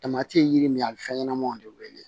ye yiri min ye a bɛ fɛn ɲɛnamaw de wele